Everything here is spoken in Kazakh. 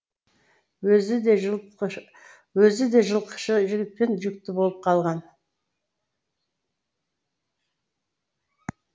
өзі де жылқышы жігіттен жүкті болып қалған